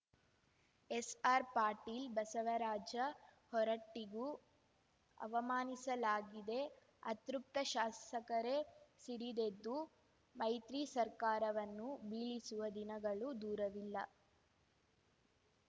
ಎಸ್‌ಆರ್ಪಾಟೀಲ್ ಬಸವರಾಜ ಹೊರಟ್ಟಿಗೂ ಅವಮಾನಿಸಲಾಗಿದೆ ಅತೃಪ್ತ ಶಾಸಕರೇ ಸಿಡಿದೆದ್ದು ಮೈತ್ರಿ ಸರ್ಕಾರವನ್ನು ಬೀಳಿಸುವ ದಿನಗಳೂ ದೂರವಿಲ್ಲ